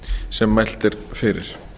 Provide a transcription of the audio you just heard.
sem mælt er fyrir